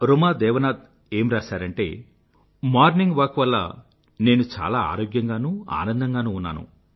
రుమా దేవనాథ్ ఏమ్ రాసారంటే morning walk వల్ల నేను చాలా ఆరోగ్యంగానూ ఆనందంగానూ ఉన్నాను